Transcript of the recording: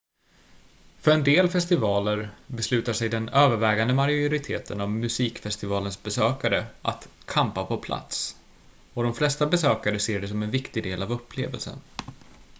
för en del festivaler beslutar sig den övervägande majoriteten av musikfestivalens besökare att campa på plats och de flesta besökare ser det som en viktig del av upplevelsen